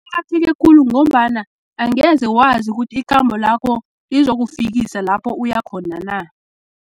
Afike khulu, ngombana angeze wazi ukuthi, ikhambo lakho lizokufikisa lapho uyakhona na.